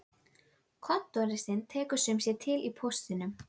Fagstéttir hafa öðlast undraverð ítök í tæknivæddum nútímasamfélögum.